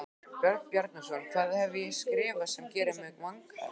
Björn Bjarnason: Hvað hef ég skrifað sem gerir mig vanhæfan?